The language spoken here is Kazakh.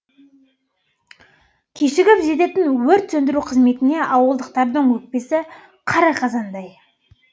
кешігіп жететін өрт сөндіру қызметіне ауылдықтардың өкпесі қара қазандай